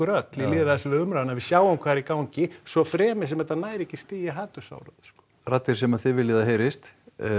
öll í lýðræðislegri umræðu að við sjáum hvað er í gangi svo fremi sem þetta nær ekki stigi hatursorðræðu raddir sem að þið viljið að heyrist